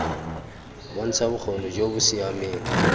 bontsha bokgoni jo bo siameng